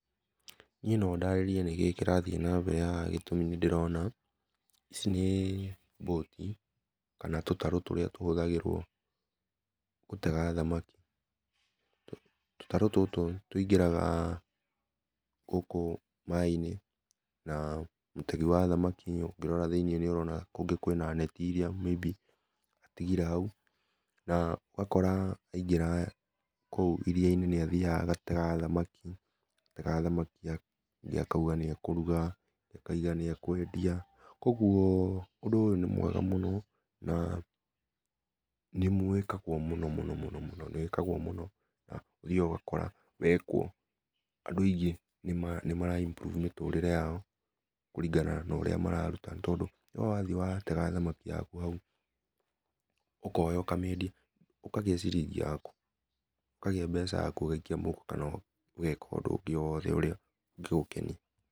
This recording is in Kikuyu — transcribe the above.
Niĩ no ndarĩrie nĩkĩĩ kĩrathiĩ na mbele haha gĩtũmi nĩ ndĩrona, ici nĩ boti kana tũtarũ tũrĩa tũhũtahagĩrwo gũtega thamaki, tũtarũ tũtũ tĩngĩraga gũkũ maĩ inĩ na mũtegĩ wathamakĩ ũngĩrora thĩinĩ nĩ ũrona kwĩna netĩ ĩrĩa may be atĩgĩre haũ na ũgakora aĩngĩra kũu ĩrĩa inĩ nĩ athĩaga agatega thamaki, atega thamakĩ ingĩ akaũga nĩ akũrũga ingĩ akaũga nĩ akwendia kũogũon ũndũ ũyũ nĩ mwega mũno na nĩwĩkagwo mũno mũno mũno na ũthĩaga ũgakora wekwo andũ aĩngĩ nĩ mara improve mĩtũrĩre yao kũlingana na ũrĩa mararũta nĩ tondũ we wathiĩ watega thamakĩ yako haũ ũkoya ũkamĩendĩa ũkagĩa ciringi yakũ ũkagĩa mbeca yakũ ũgaĩkĩa mũhũko kana ũgeka ũndũ o wothe ũrĩa ũngĩgũkenĩa.